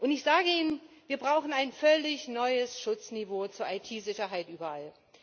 Ich sage Ihnen Wir brauchen ein völlig neues Schutzniveau zur IT Sicherheit überall.